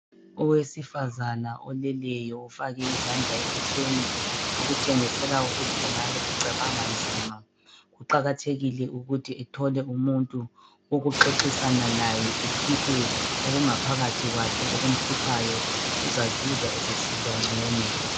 Owesifazana oleleyo ufake izandla ebusweni okutshengisela ukuthi engabe ecabanga nzima. Kuqakathekile ukuthi ethole umuntu wokuxoxisana laye ekhiphe okungaphakathi kwakhe okumhluphayo. Uzazizwa esesizwa ngcono.